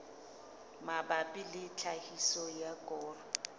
mabapi le tlhahiso ya koro